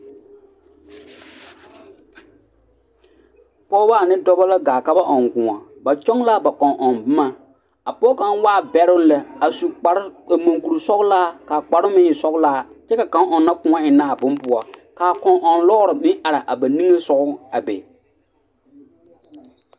Pɔgebɔ ane dɔbɔ la gaa ka ba ɔŋ kõɔ ba kyɔŋ la a ba kɔŋ-ɔŋ boma a pɔge kaŋ waa bɛroŋ lɛ a su kparoŋ ka mɔŋkuri sɔgelaa k'a kparoŋ meŋ e sɔgelaa kyɛ ka kaŋ meŋ a ɔnnɔ kõɔ ennɛ a bone poɔ k'a kɔŋ-ɔŋ lɔɔre meŋ are a ba niŋesogɔ be